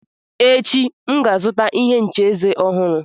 Echi, M ga-azụta ihe ncha eze ọhụrụ.